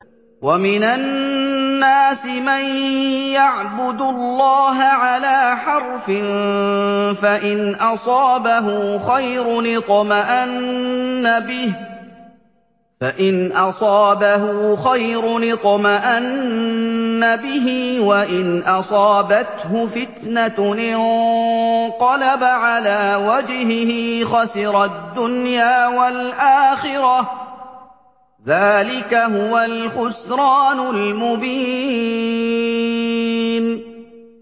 وَمِنَ النَّاسِ مَن يَعْبُدُ اللَّهَ عَلَىٰ حَرْفٍ ۖ فَإِنْ أَصَابَهُ خَيْرٌ اطْمَأَنَّ بِهِ ۖ وَإِنْ أَصَابَتْهُ فِتْنَةٌ انقَلَبَ عَلَىٰ وَجْهِهِ خَسِرَ الدُّنْيَا وَالْآخِرَةَ ۚ ذَٰلِكَ هُوَ الْخُسْرَانُ الْمُبِينُ